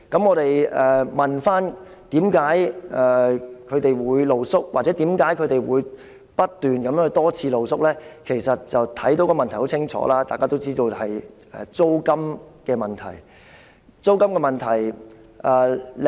我們問該些露宿者，為何他們會露宿或不斷多次露宿——其實原因很清楚，大家也都知道——答案就是租金問題。